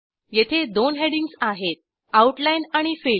येथे दोन हेडिंग्ज आहेत आउटलाईन आणि फिल